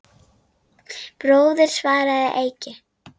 Bróðir, svaraði Eiki.